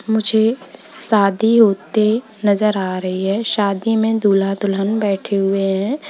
मुझे शादी होते नजर आ रही है शादी में दूल्हा दुल्हन बैठे हुए हैं।